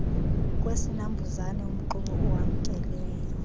kwesinambuzane umxube owamkelweyo